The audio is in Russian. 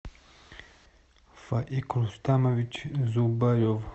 фаик рустамович зубарев